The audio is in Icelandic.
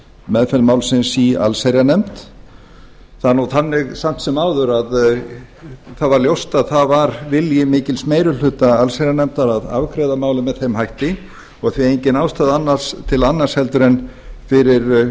meðferð málsins í allsherjarnefnd það er nú þannig samt sem áður að það var ljóst að það var vilji mikils meiri hluta allsherjarnefndar að afgreiða málið með þeim hætti og því engin ástæða til annars fyrir